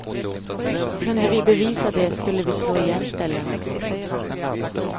Kunde vi bevisa det skulle vi slå igen ställena.